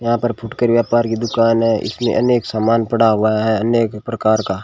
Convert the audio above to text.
यहां पर फुटकर व्यापार की दुकान है इसमें अनेक सामान पड़ा हुआ है अनेक प्रकार का--